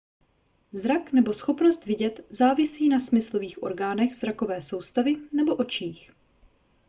zrak nebo schopnost vidět závisí na smyslových orgánech zrakové soustavy nebo očích